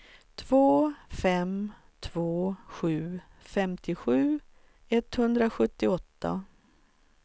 två fem två sju femtiosju etthundrasjuttioåtta